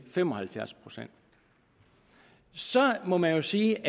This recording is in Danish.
fem og halvfjerds procent så må man jo sige